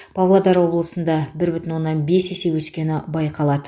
павлодар облысында бір бүтін оннан бес есе өскені байқалады